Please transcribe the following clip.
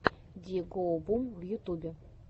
ди гоу бум в ютубе